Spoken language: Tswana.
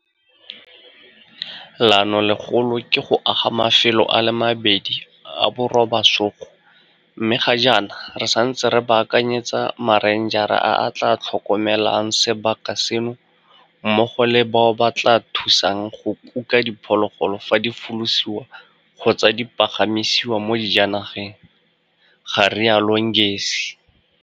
Leanolegolo ke go aga mafelo a le mabedi a borobasogo mme ga jaana re santse re baakanyetsa marenjara a a tla tlhokomelang sebaka seno mmogo le bao ba tla thusang go kuka diphologolo fa di folosiwa kgotsa di pagamisiwa mo dijanageng, ga rialo Ngesi.